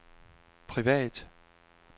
privat